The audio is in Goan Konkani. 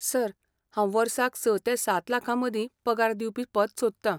सर, हांव वर्साक स ते सात लाखां मदीं पगार दिवपी पद सोदतां.